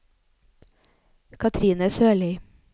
Cathrine Sørlie